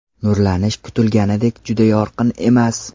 Nurlanish kutilganidek juda yorqin emas.